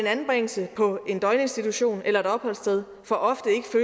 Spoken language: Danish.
anbringelse på en døgninstitution eller et opholdssted for ofte